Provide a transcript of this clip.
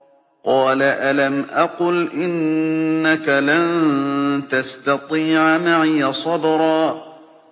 قَالَ أَلَمْ أَقُلْ إِنَّكَ لَن تَسْتَطِيعَ مَعِيَ صَبْرًا